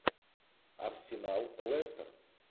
арсенал лестер